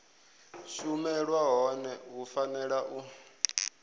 shumelwa hone hu fanela u